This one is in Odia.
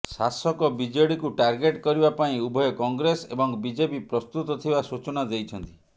ଶାସକ ବିଜେଡିକୁ ଟାର୍ଗେଟ କରିବା ପାଇଁ ଉଭୟ କଂଗ୍ରେସ ଏବଂ ବିଜେପି ପ୍ରସ୍ତୁତ ଥିବା ସୂଚନା ଦେଇଛନ୍ତି